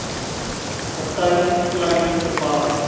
kaptein kleyn verwar